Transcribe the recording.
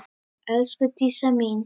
Elsku Dísa mín.